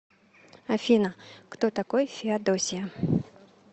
афина кто такой феодосия